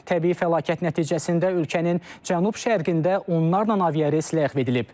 Təbii fəlakət nəticəsində ölkənin cənub-şərqində onlarla aviares ləğv edilib.